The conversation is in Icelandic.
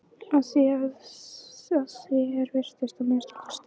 Að því er virtist að minnsta kosti.